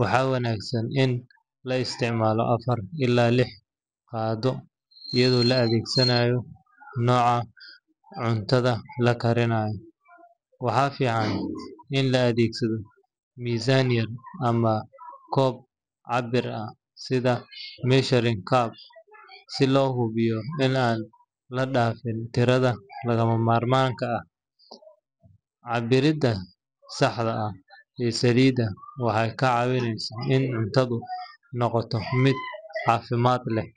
waxaa wanaagsan in la isticmaalo afar ilaa lix qaaddo, iyadoo la eegayo nooca cuntada la karinayo. Waxaa fiican in la adeegsado miisaan yar ama koob cabbir ah sida measuring cup si loo hubiyo in aan la dhaafin tirada lagama maarmaanka ah. Cabbiridda saxda ah ee saliidda waxay kaa caawinaysaa in cuntadu noqoto mid caafimaad leh.